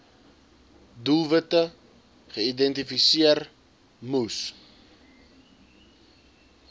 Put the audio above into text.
doelwitte geïdentifiseer moes